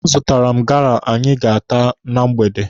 A zụtara m gala anyị ga-ata na mgbede.